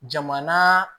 Jamana